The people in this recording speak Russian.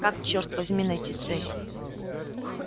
как черт возьми найти цель